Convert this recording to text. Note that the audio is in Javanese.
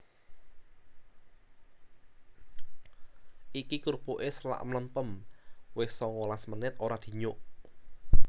Iki krupuke selak mlempem wis songolas menit ora dinyuk